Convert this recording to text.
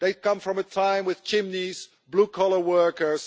They come from a time with chimneys and blue collar workers.